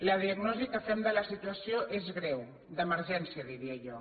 la diagnosi que fem de la situació és greu d’emergència diria jo